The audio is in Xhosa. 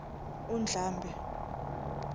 undlambe